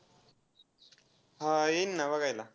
हा, येईन ना बघायला.